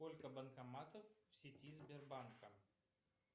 сколько банкоматов в сети сбербанка